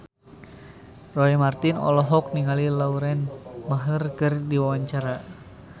Roy Marten olohok ningali Lauren Maher keur diwawancara